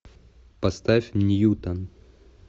поставь ньютон